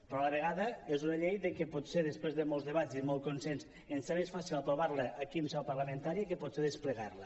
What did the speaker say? però a la vegada és una llei que potser després de molts debats i molt consens ens és més fàcil aprovar la aquí en seu parlamentària que potser desplegar la